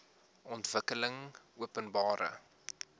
ontwikkelingopenbare